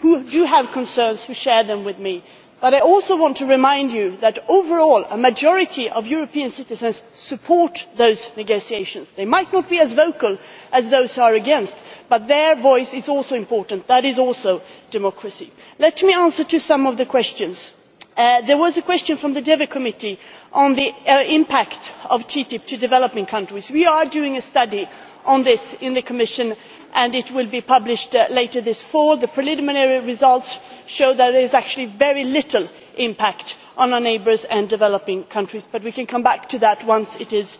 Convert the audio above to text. who have concerns and who share them with me. But I also want to remind you that overall a majority of European citizens support those negotiations. They might not be as vocal as those who are against, but their voice is also important. That is also democracy. Let me answer some of the questions. There was a question from the Committee on Development on the impact of TTIP on developing countries. We are doing a study on this in the Commission, and it will be published later this autumn. The preliminary results show there is actually very little impact on our neighbours and on developing countries, but we can come back to that once it is